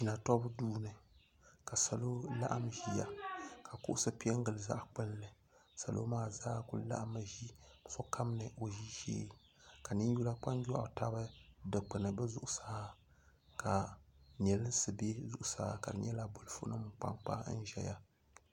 Natɔɡu duu ni ka salo laɣim ʒiya ka kuɣusi pe n-ɡili zaɣ' kpulli salo maa zaa kuli laɣimmi ʒi ni sokam ni o ʒishee ka ninyula kpanjɔɣu tabi dikpuni bɛ zuɣusaa ka neesim be zuɣusaa ka di nyɛla bolifunima n-kpa n-kpa n-ʒɛya